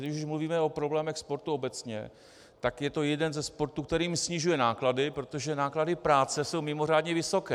Když už mluvíme o problémech sportu obecně, tak je to jeden ze sportů, který snižuje náklady, protože náklady práce jsou mimořádně vysoké.